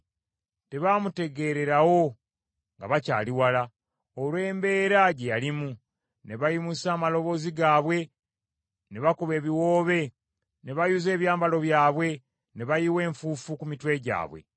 Tebaamutegeererawo nga bakyali wala, olw’embeera gye yalimu; ne bayimusa amaloboozi gaabwe ne bakuba ebiwoobe ne bayuza ebyambalo byabwe ne bayiwa enfuufu ku mitwe gyabwe.